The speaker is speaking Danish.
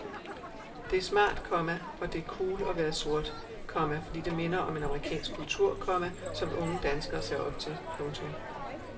Det er smart, komma og det er cool at være sort, komma fordi det minder om en amerikansk kultur, komma som unge danskere ser op til. punktum